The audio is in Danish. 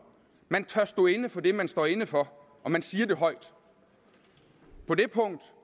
man tør stå inde for det man står inde for og man siger det højt på det punkt